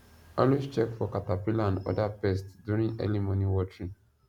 always check for caterpillar and other pest during early morning watering